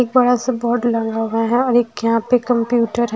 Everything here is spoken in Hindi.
एक बड़ा सा बोर्ड लगा हुआ है और यहां पे एक कंप्यूटर है।